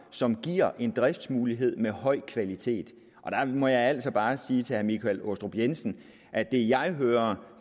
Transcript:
som giver en driftsmulighed med høj kvalitet jeg må altså bare sige til herre michael aastrup jensen at det jeg hører